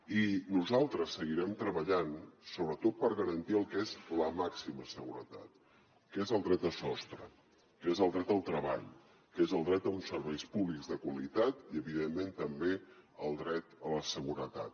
i nosaltres seguirem treballant sobretot per garantir el que és la màxima seguretat que és el dret a sostre que és el dret al treball que és el dret a uns serveis públics de qualitat i evidentment també el dret a la seguretat